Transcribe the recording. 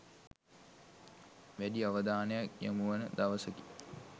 වැඩි අවධානයක් යොමුවන දවසකි.